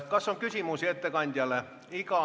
Kas on küsimusi ettekandjale?